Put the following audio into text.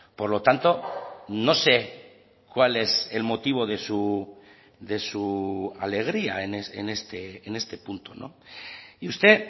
por lo tanto no sé cuál es el motivo de su alegría en este punto y usted